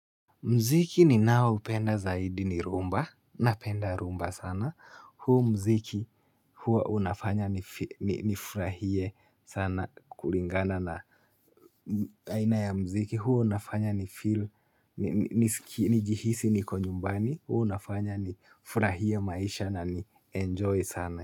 Muziki ninaoupenda zaidi ni rhumba napenda rhumba sana huu muziki huwa unafanya nifurahie sana kulingana na aina ya muziki huo unafanya nifeel nisikie nijihisi niko nyumbani huwa unafanya nifurahie maisha na nienjoy sana.